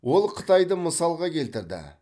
ол қытайды мысалға келтірді